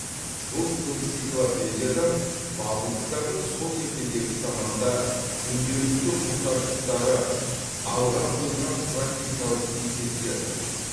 бұл энциклопедиядан бабылдықтардың сол ертедегі заманда күнделікті мұқтаждықтары алға қойылған практикалық есептерді